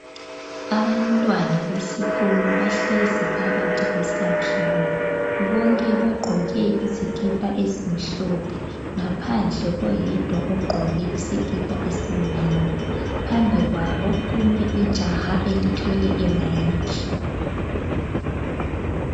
Abantwana besikolo bahlezi phakathi kwesakhiwo bonke bagqoke izikipa ezimhlophe ngaphandle koyedwa ogqoke isikipa esimnyama. Phambi kwabo kume ijaha elithwele imayikhi.